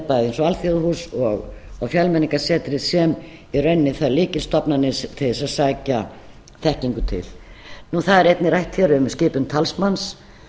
eins og alþjóðahús og fjölmenningarsetrið sem í rauninni þær lykilstofnanir til þess að sækja þekkingu til það er einnig rætt hér um skipun talsmanns